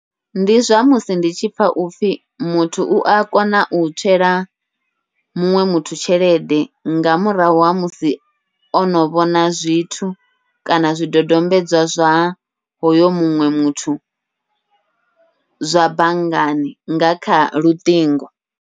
Ndi zwa musi ndi tshi pfha upfhi muthu ua kona u tswela muṅwe muthu tshelede, nga murahu ha musi ono vhona zwithu kana zwidodombedzwa zwa hoyo muṅwe muthu zwa banngani nga kha luṱingo.